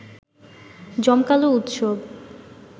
জমকালো উৎসব